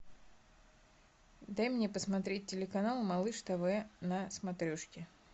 дай мне посмотреть телеканал малыш тв на смотрешке